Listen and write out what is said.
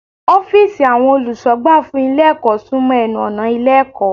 Ófììsì àwọn olùsọ̀gbà fún Ilé ẹ̀kọ́ sún mọ́ enu ọ̀nà Ilé ẹ̀kọ́